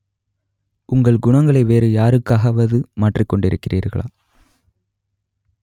உங்கள் குணங்களை வேறு யாருக்காவது மாற்றிக் கொண்டிருக்கிறீர்களா